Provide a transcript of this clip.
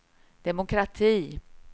demokrati